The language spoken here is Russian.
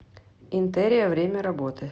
интерия время работы